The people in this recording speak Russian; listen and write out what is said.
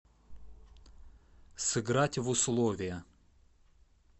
сыграть в условия